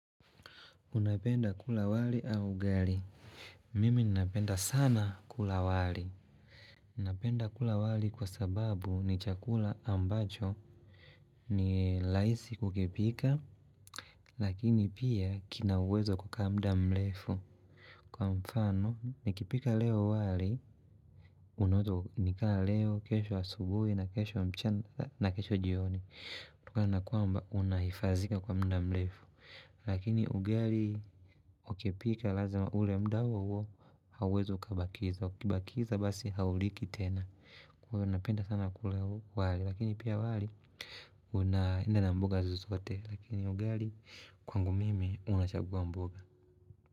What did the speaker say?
Unapenda kula wali au ugali? Mimi ninapenda sana kula wali. Napenda kula wali kwa sababu ni chakula ambacho ni raisi kukipika. Lakini pia kinauwezo wa kamda mrefu. Kwa mfano, nikipika leo wali, naweza nikala leo, kesho wa subuhi, na kesho mchenda, na kesho jioni. Napenda kwamba, unahifazika kwa mda mlefu. Lakini ugali ukipika lazima ule muda huo huo hauwezi kabakiza Wakibakiza basi hauliki tena Kwa unapenda sana kule wali Lakini pia wali unainda na mbuga zuzote Lakini ugali kwangu mime unachagua mbuga.